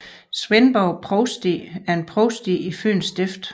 Svendborg Provsti er et provsti i Fyens Stift